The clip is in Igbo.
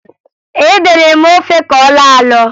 Ede na-eme ofe ka ọ na-alọ alọ